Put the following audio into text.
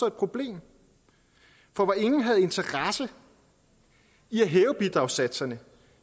et problem for hvor ingen havde interesse i at hæve bidragssatserne